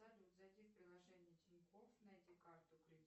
салют зайти в приложение тинькофф найди карту